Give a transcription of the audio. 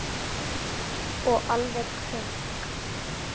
Og alveg krunk!